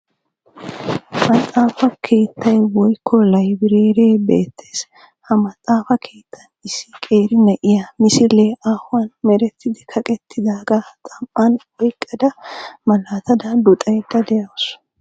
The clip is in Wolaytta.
Maxaafa keettay woykko laybereeree beettees. Ha maxaafa keettan issi qeeri na'iya misilee aahuwan merettidi kaqettidaagaa xam"aa oyqqada malaatada luxaydda de'awusu.